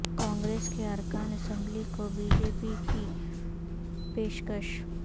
کانگریس کے ارکان اسمبلی کو بی جے پی کی پیشکش